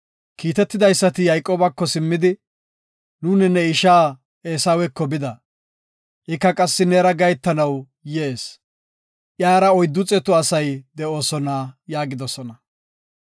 Kiitetidaysati Yayqoobako simmidi, “Nuuni ne isha Eesaweko bida. Ika qassi neera gahetanaw yees. Iyara oyddu xeetu asay de7oosona” yaagidosona.